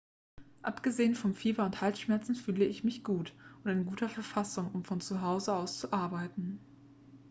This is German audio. """abgesehen vom fieber und den halsschmerzen fühle ich mich gut und in guter verfassung um von zuhause aus zu arbeiten.